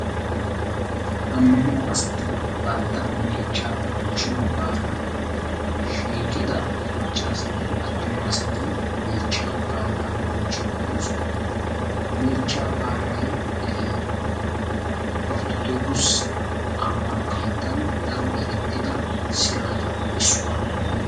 Ammanuwa asata bantta meechchaa bonchchchiyo baalan shiiqida maccaasatinne attumasati meechchaa baalaa bonchchide de'oosona. Meechcha baalay Orttodokkisse ammano keettan daro erettida siraatappe issuwaa.